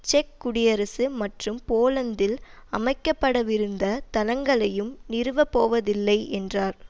check குடியரசு மற்றும் போலந்தில் அமைக்க படவிருந்த தளங்களையும் நிறுவப்போவதில்லை என்றார்